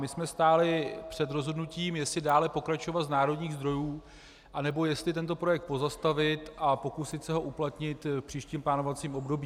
My jsme stáli před rozhodnutím, jestli dále pokračovat z národních zdrojů, anebo jestli tento projekt pozastavit a pokusit se ho uplatnit v příštím plánovacím období.